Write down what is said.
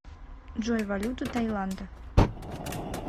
джой валюта тайланда